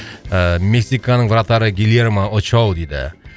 ыыы мексиканың вратары гильермо очоу дейді